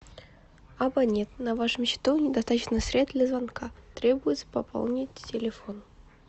абонент на вашем счету недостаточно средств для звонка требуется пополнить телефон